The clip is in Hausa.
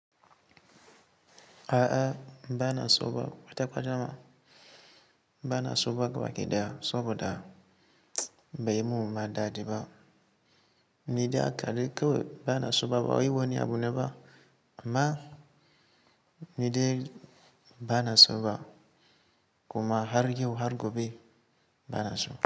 A'a, ba na so ba kwata kwadam ba na so ba gabaɗaya saboda bai yi min ma dadi ba. Ni dai hakadai kawai ba na so ba, ba wai wani abu ne ba amma ni dai ba na so ba kuma har yau har gobe ba na so.